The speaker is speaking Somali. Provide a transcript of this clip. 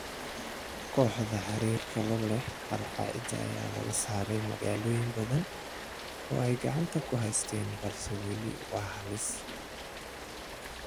Kooxda xiriirka la leh Al-Qaacida ayaa laga saaray magaalooyin badan oo ay gacanta ku haysay balse weli waa halis.